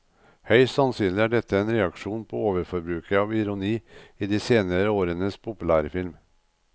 Høyst sannsynlig er dette en reaksjon på overforbruket av ironi i de senere årenes populærfilm.